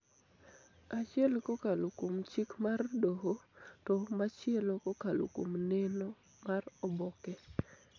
achiel kokalo kuom chik mar doho to machielo kokalo kuom neno mar oboke